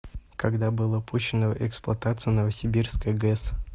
когда была пущена в эксплуатацию новосибирская гэс